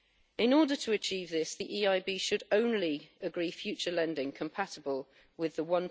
In order to achieve this the EIB should only agree future lending compatible with the